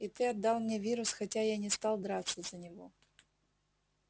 и ты отдал мне вирус хотя я не стал драться за него